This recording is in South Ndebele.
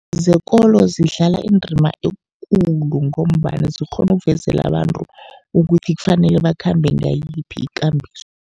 Zekolo zidlala indima ekulu, ngombana zikghona ukuvezela abantu ukuthi kufanele bakhambe ngayiphi ikambiso.